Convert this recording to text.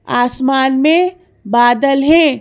आसमान में बादल हैं।